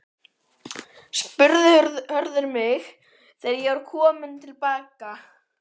spurði Hörður mig þegar ég kom til baka.